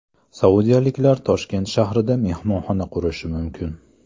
Saudiyaliklar Toshkent shahrida mehmonxona qurishi mumkin.